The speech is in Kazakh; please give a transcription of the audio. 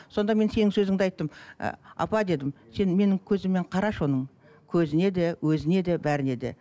сонда мен сенің сөзіңді айттым ы апа дедім сен менің көзіммен қарашы оның көзіне де өзіне де бәріне де